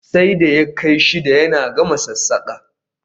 Sai da ya kai shida yana gama sassaƙa